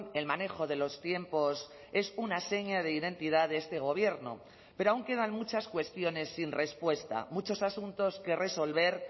el manejo de los tiempos es una seña de identidad de este gobierno pero aun quedan muchas cuestiones sin respuesta muchos asuntos que resolver